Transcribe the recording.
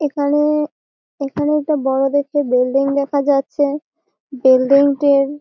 এখানে-এ এখানে একটা বড় দেখে বিল্ডিং দেখা যাচ্ছে বিল্ডিং টির--